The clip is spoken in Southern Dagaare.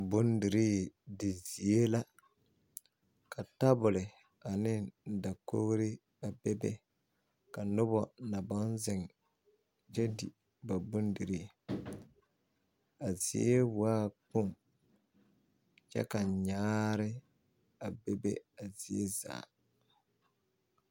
Bondirii di zie la ka tabuli ane dakoɡri a bebe ka noba na baŋ zeŋ kyɛ di ba bondirii a zie waa kpoŋ kyɛ ka nyaare a bebe a zie zaa .